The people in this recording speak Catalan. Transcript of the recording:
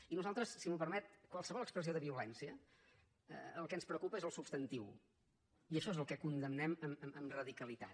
i nosaltres si m’ho permet de qualsevol expressió de violència el que ens preocupa és el substantiu i això és el que condemnem amb radicalitat